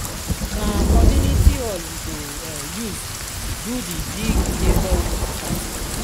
na community hall we go use do di big neighborhood party